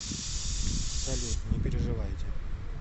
салют не переживайте